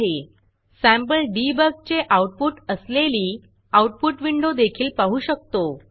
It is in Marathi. सॅम्पल debugसॅम्पल डिबॉग चे आऊटपुट असलेली Outputआउटपुट विंडो देखील पाहू शकतो